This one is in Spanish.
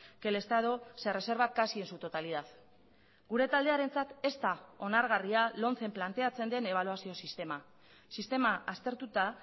que el estado se reserva casi en su totalidad gure taldearentzat ez da onargarria lomcen planteatzen den ebaluazio sistema sistema aztertuta